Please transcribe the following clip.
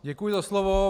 Děkuji za slovo.